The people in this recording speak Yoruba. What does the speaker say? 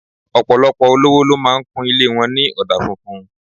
Ọ̀pọ̀lọpọ̀ olówó ló máa ń kun ilé wọn ní ọ̀dà funfun